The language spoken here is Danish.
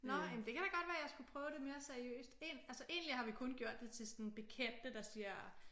Nå jamen det kan da godt være jeg skulle prøve det mere seriøst altså egentlig har vi kun gjort det til sådan bekendte der siger